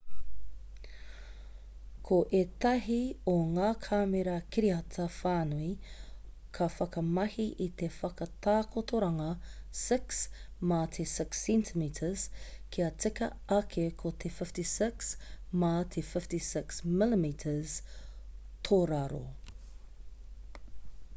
ko ētahi o ngā kāmera kiriata-whānui ka whakamahi i te whakatakotoranga 6 mā te 6 cm kia tika ake ko te 56 mā te 56 mm tōraro